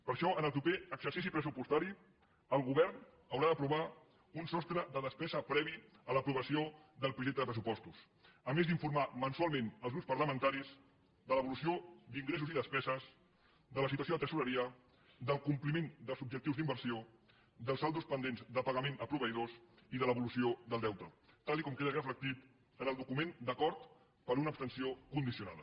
per això en el proper exercici pressupostari el govern haurà d’aprovar un sostre de despesa previ a l’aprovació del projecte de pressupostos a més d’informar mensualment els grups parlamentaris de l’evolució d’ingressos i despeses de la situació de tresoreria del compliment dels objectius d’inversió dels saldos pendents de pagament a proveïdors i de l’evolució del deute tal com queda reflectit en el document d’acord per una abstenció condicionada